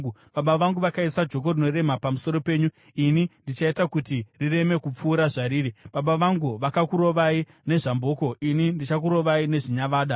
Baba vangu vakaisa joko rinorema pamusoro penyu; ini ndichaita kuti rireme kupfuura zvariri. Baba vangu vakakurovai nezvamboko; ini ndichakurovai nezvinyavada.’ ”